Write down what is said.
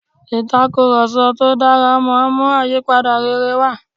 ìtakùròsọ tó dára máa mú àyípadà rere wá